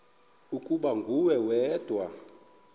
ukuba nguwe wedwa